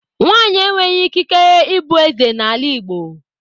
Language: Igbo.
Nwaanyị enweghị ikike ịbụ eze n' ala igbo